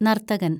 നര്‍ത്തകന്‍